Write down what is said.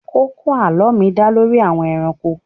Kókó àlọ́ mi dá lórí àwọn ẹranko.